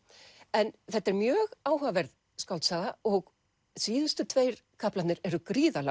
en þetta er mjög áhugaverð skáldsaga og síðustu tveir kaflarnir eru gríðarlega